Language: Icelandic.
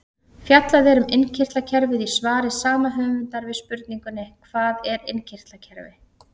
Fjallað er um innkirtlakerfið í svari sama höfundar við spurningunni Hvað er innkirtlakerfi?